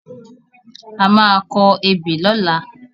A má a kọ ebè lọ́la.